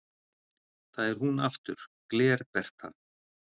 Það er hún aftur, Gler-Bertha